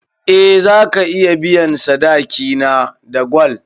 Eh zaka iya biyan sadaki na da gwal